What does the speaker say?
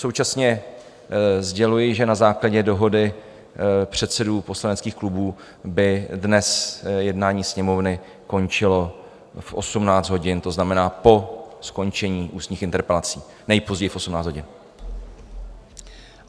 Současně sděluji, že na základě dohody předsedů poslaneckých klubů by dnes jednání Sněmovny končilo v 18 hodin, to znamená po skončení ústních interpelací, nejpozději v 18 hodin.